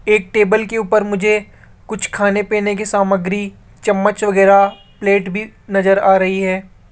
एक टेबल के ऊपर मुझे कुछ खाने पीने की सामग्री चम्मच वगैरा प्लेट भी नजर आ रही है।